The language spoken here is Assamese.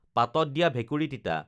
পাতত দিয়া ভেকুৰী তিতা